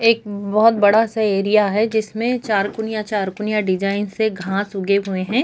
एक बहोत बड़ा सा एरिया है जिसमें चार कुनिया चार कुनिया डिजाईन से घास उगे हुए है।